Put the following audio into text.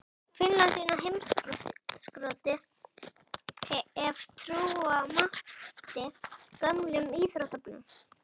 Finnland inn á heimskortið ef trúa mátti gömlum íþróttablöðum.